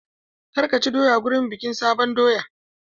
Kar ka ci doya wurin bikin sabon doya!